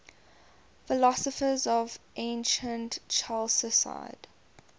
philosophers of ancient chalcidice